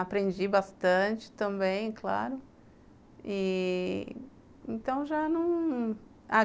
Aprendi bastante também, claro e... Então já não